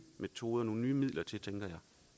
metoder og midler til tænker